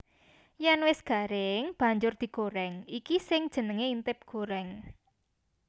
Yèn wis garing banjur digorèng iki sing jenengé intip gorèng